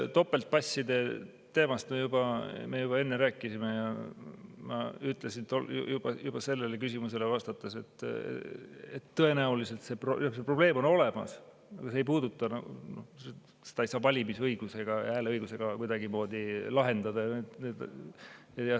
Topeltpasside teemast me juba me enne rääkisime ja ma ütlesin juba sellele küsimusele vastates, et tõenäoliselt see probleem on olemas, aga seda ei saa valimisõigusega või hääleõigusega kuidagimoodi lahendada.